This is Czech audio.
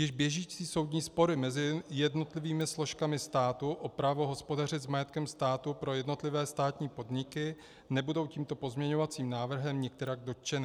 Již běžící soudní spory mezi jednotlivými složkami státu o právo hospodařit s majetkem státu pro jednotlivé státní podniky nebudou tímto pozměňovacím návrhem nikterak dotčeny.